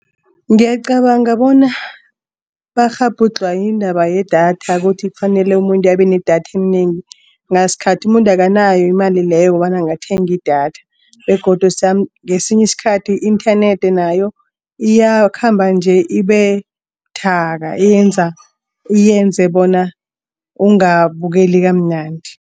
Ngiyacabanga bona bakghabhudlhwa yindaba yedatha kuthi kufanele umuntu abe nedatha elinengi. Ngasikhathi umuntu akanayo imali leyo kobana angathenga idatha begodu ngesinye isikhathi i-internet nayo iyakhamba nje ibe buthaka yenza uyenze bona ungabukela kamnandi.